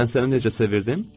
Mən səni necə sevirdim?